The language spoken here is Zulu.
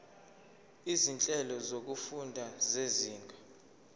izinhlelo zokufunda zezinga